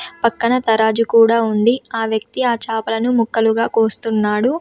పక్కన తరాజు కూడా ఉంది. ఆ వ్యక్తి ఆ చేపలను ముక్కలుగా కోస్తున్నాడు.